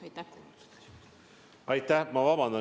Aitäh!